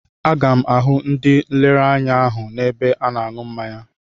Aga m ahụ ndị nlereanya ahụ n'ebe a na-aṅụ mmanya.